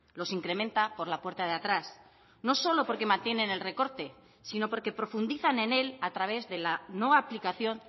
los incrementa por la puerta de atrás no solo porque mantienen el recorte sino porque profundizan en él a través de la no aplicación